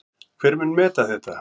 Hver mun meta þetta?